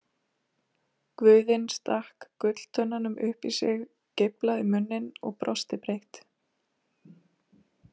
Guðinn stakk gulltönnunum upp í sig, geiflaði munninn og brosti breitt.